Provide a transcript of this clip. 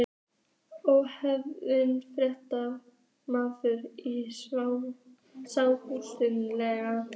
Ónefndur fréttamaður: Í sjávarútvegi?